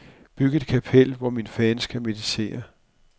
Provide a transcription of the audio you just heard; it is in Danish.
Byg et kapel, hvor mine fans kan meditere.